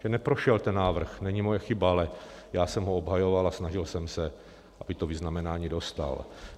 Že neprošel ten návrh, není moje chyba, ale já jsem ho obhajoval a snažil jsem se, aby to vyznamenání dostal.